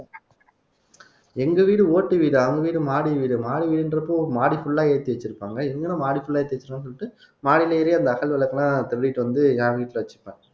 எங்க வீடு ஓட்டு வீடு அவங்க வீடு மாடி வீடு மாடி வீடுன்றப்போ மாடி full ஆ ஏத்தி வச்சிருப்பாங்க இவங்க என்ன மாடி full ஆ ஏத்தி வெச்சுருக்காங்கன்னு சொல்லிட்டு மாடில ஏறி அந்த அகல் விளக்கு எல்லாம் திருடிட்டு வந்து என் வீட்டுல வச்சுப்பேன்